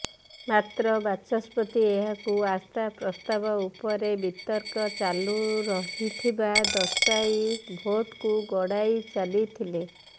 ମାତ୍ର ବାଚସ୍ପତି ଏହାକୁ ଆସ୍ଥା ପ୍ରସ୍ତାବ ଉପରେ ବିତର୍କ ଚାଲୁ ରହିଥିବା ଦର୍ଶାଇ ଭୋଟ୍କୁ ଗଡାଇ ଚାଲିଥିଲେ